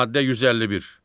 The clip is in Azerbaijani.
Maddə 151.